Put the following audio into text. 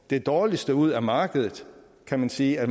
det dårligste ud af markedet kan man sige at